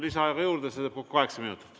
Lisaaega juurde, see teeb kokku kaheksa minutit.